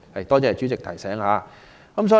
多謝主席提醒。